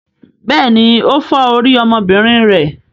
Bẹ́ẹ̀ni, ó fọ́ orí ọmọbìnrin rẹ.